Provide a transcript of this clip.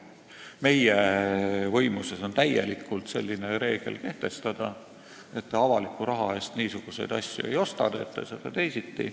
Meie võimuses on täielikult selline reegel kehtestada, et te avaliku raha eest niisuguseid asju ei osta, teete seda teisiti.